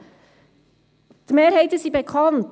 Die Mehrheiten sind bekannt.